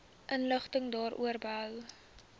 inligting daaroor behoue